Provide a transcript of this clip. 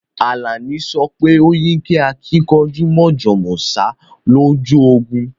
Alani sope o yí kẹ́ àkìnkanjú mọ̀jọ̀ mọ̀sá lọ́jọ́ ogún